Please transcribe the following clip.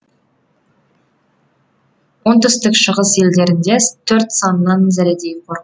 оңтүстік шығыс елдерінде төрт санынан зәредей қорық